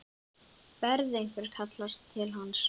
Berðu einhvern kala til hans?